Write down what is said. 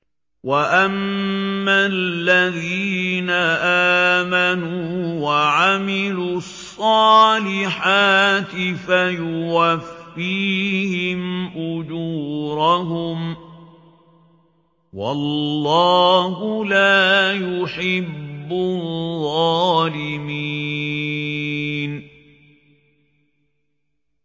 وَأَمَّا الَّذِينَ آمَنُوا وَعَمِلُوا الصَّالِحَاتِ فَيُوَفِّيهِمْ أُجُورَهُمْ ۗ وَاللَّهُ لَا يُحِبُّ الظَّالِمِينَ